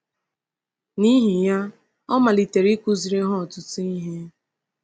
N’ihi ya, “ọ malitere ịkụziri ha ọtụtụ ihe.”